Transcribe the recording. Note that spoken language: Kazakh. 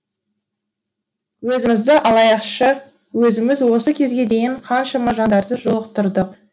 өзімізді алайықшы өзіміз осы кезге дейін қаншама жандарды жолықтырдық